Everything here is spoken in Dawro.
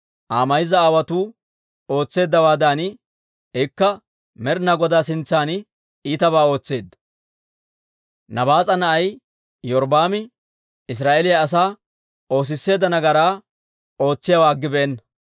Aa mayza aawotuu ootseeddawaadan, ikka Med'ina Godaa sintsan iitabaa ootseedda; Nabaas'a na'ay Iyorbbaami Israa'eeliyaa asaa oosisseedda nagaraa ootsiyaawaa aggibeenna.